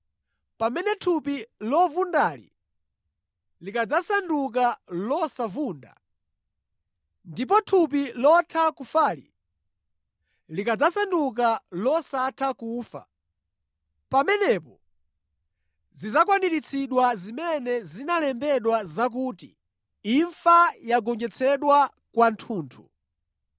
Pamene thupi lovundali likadzasanduka losavunda, ndipo thupi lotha kufali likadzasanduka losatha kufa, pamenepo zidzakwaniritsidwa zimene zinalembedwa zakuti, “Imfa yogonjetsedwa kwathunthu.”